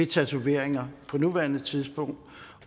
tatoveringer på nuværende tidspunkt